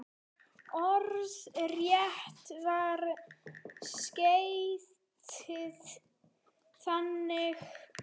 Orðrétt var skeytið þannig